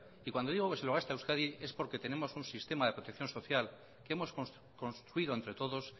y cuando digo que se lo gasta euskadi es porque tenemos un sistema de protección social que hemos construido entre todos